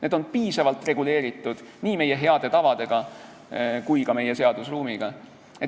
Need on piisavalt reguleeritud nii meie heade tavadega kui ka meie seadusruumiga.